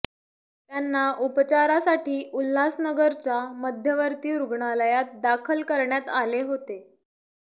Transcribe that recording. त्यांना उपचारासाठी उल्हासनगरच्या मध्यवर्ती रुग्णालयात दाखल करण्यात आले होते